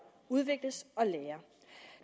udvikler sig og lærer